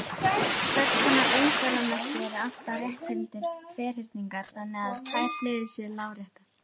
Hvers konar umferðarmerki eru alltaf rétthyrndir ferhyrningar þannig að tvær hliðar séu láréttar?